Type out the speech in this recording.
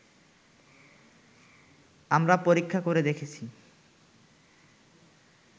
আমরা পরীক্ষা করে দেখেছি